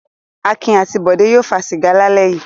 Akin àti Bọ̀dé yóò fa sìgá lálẹ́ yìí.